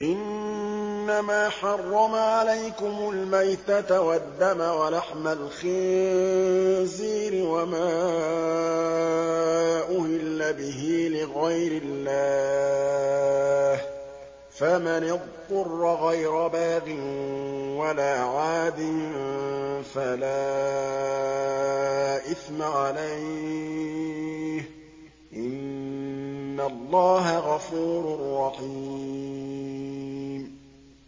إِنَّمَا حَرَّمَ عَلَيْكُمُ الْمَيْتَةَ وَالدَّمَ وَلَحْمَ الْخِنزِيرِ وَمَا أُهِلَّ بِهِ لِغَيْرِ اللَّهِ ۖ فَمَنِ اضْطُرَّ غَيْرَ بَاغٍ وَلَا عَادٍ فَلَا إِثْمَ عَلَيْهِ ۚ إِنَّ اللَّهَ غَفُورٌ رَّحِيمٌ